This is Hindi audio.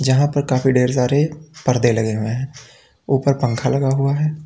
जहां पर काफी ढेर सारे पर्दे लगे हुए हैं ऊपर पंखा लगा हुआ है।